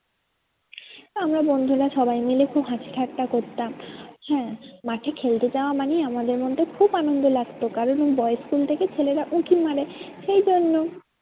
আমরা বন্ধুরা সবাই মিলে খুব হাসি ঠাট্টা করতাম। হ্যাঁ মাঠে খেলতে যাওয়া মানেই আমাদের মধ্যে খুব আনন্দ লাগতো কারণ ওই boys school থেকে ছেলেরা উঁকি মারে সেইজন্য।